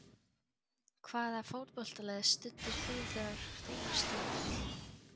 Hvaða fótboltalið studdir þú þegar þú varst lítill?